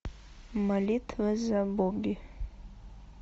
молитва за бобби